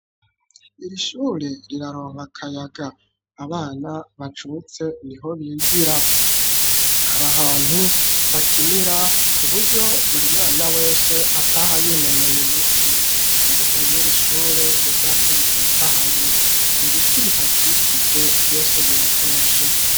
Iri shure riraronka akayaga, abana bacutse niho bigira, hari ahantu bakinira kuburyo buri mwana wese ataha yinonoye imitsi, imbuga yiri shure n'ivyatsi bitotahaye, ibiti bihakikije vyose biratoshe.